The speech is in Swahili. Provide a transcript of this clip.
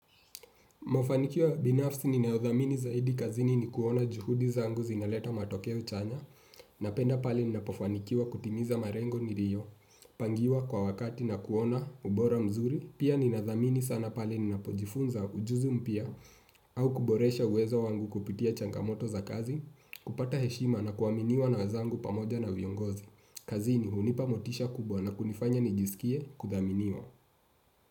Mafanikio ya binafsi ni nayodhamini zaidi kazini ni kuona juhudi zangu zinaleta matokeo chanya na penda pale ni napofanikiwa kutimiza marengo nirio, pangiwa kwa wakati na kuona ubora mzuri, pia ni nadhamini sana pale ni napojifunza ujuzi mpya au kuboresha uwezo wangu kupitia changamoto za kazi, kupata heshima na kuaminiwa na wenzangu pamoja na viongozi. Kazini hunipa motisha kubwa na kunifanya nijisikie kudhaminiwa.